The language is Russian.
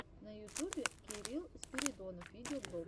на ютубе кирилл спиридонов видеоблог